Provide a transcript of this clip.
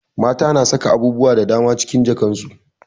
Mata na saka abubuwa da daman cikin jakan su